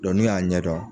n'u y'a ɲɛdɔn